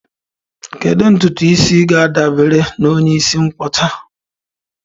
Kedu ntutu isi ga-adabara onye isi nkwọcha?